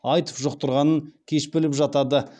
аитв жұқтырғанын кеш біліп жатады